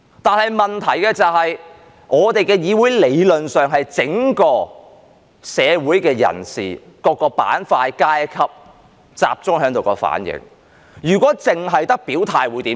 不過問題是，我們的議會理論上是整個社會的人士、各個板塊、階級集中在這裏的反映，如果只有表態會如何？